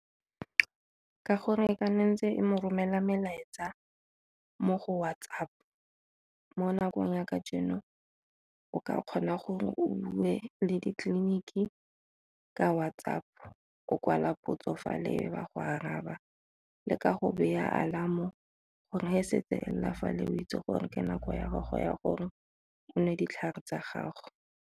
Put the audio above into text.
Ka gore e mo romela melaetsa mo go WhatsApp. Mo nakong ya kajeno o ka kgona gore o bue le ditleliniki ka WhatsApp-o, o kwala potso fa le ba go araba le ka go baya alarm-o gore fa setse e lela fa le go itse gore ke nako ya gago ya gore o nwe ditlhare tsa gago.